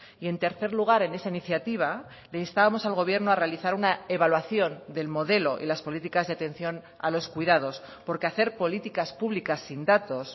y en tercer lugar en esa iniciativa le instábamos al gobierno a realizar una evaluación del modelo y las políticas de atención a los cuidados porque hacer políticas publicas sin datos